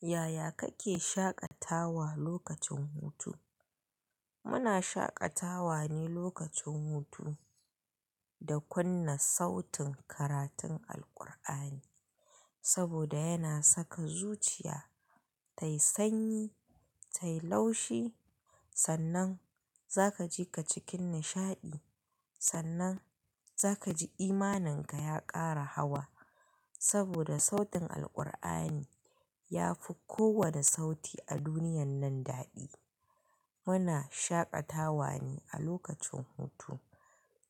Yaya kake shaƙatawa lokacin hutu? Muna shaƙatawa ne lokacin hutu da kunna sautin karatun Alqur'ani saboda yana saka zuciya tayi sanyi, tayi laushi, sannan za kaji ka cikin nishaɗi, sannan za kaji imaninka ya ƙara hawa saboda sautin Alqur'ani ya fi kowane sauti a duniyan nan daɗi. Muna shaƙatawa ne a lokacin hutu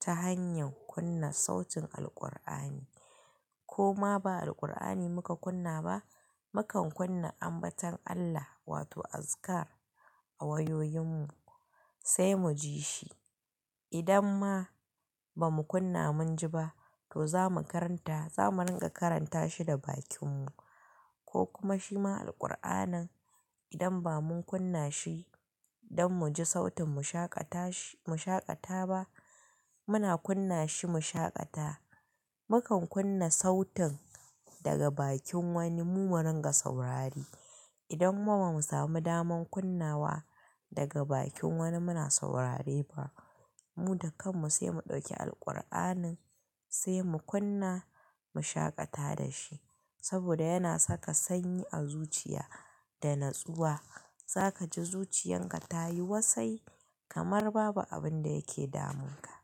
ta hanyar kunna sautin Alqur'ani ko ma ba Alqur'ani muka kunna ba, mukan kunna ambaton Allah wato azikar a wayoyinmu sai muji shi. Idan ma ba mu kunna mun ji ba to za mu karanta, za mu rinƙa karanta shi da bakinmu ko kuma shi ma Alqur'anin idan ba mun kunna shi don muji sautin mu shaƙata shi-mu shaƙata ba, muna kunna shi mu shaƙata. Mukan kunna sautin daga bakin wani mu rinƙa saurari. Idan ma ba mu samu daman kunnawa daga bakin wani muna saurare ba, mu da kanmu sai mu ɗauki Alqur'anin sai mu kunna mu shaƙata da shi saboda yana saka sanyi a zuciya da natsuwa. Za kaji zuciyan ka ta yi wasai kamar babu abin da yake damunka.